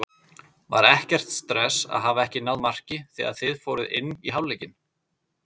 Var ekkert stress að hafa ekki náð marki þegar þið fóruð inn í hálfleikinn?